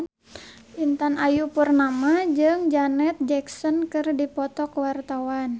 Intan Ayu Purnama jeung Janet Jackson keur dipoto ku wartawan